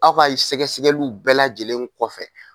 Aw ka sɛgɛsɛgɛliw bɛɛ lajɛlen kɔfɛ